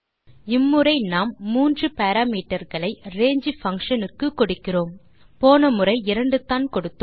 இம்முறை நாம் மூன்று parameterகளை range பங்ஷன் க்கு கொடுக்கிறோம் போன முறை இரண்டுதான் கொடுத்தோம்